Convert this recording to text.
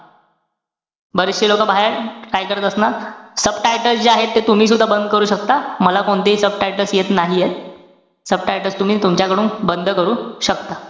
बरेचशे लोकं बाहेर काय करत असणार? subtitles जे आहेत ते तुम्ही सुद्धा बंद कर शकता. मला कोणतेही subtitles येत नाहीये. subtitles तुम्ही तुमच्याकडून बंद करू शकता.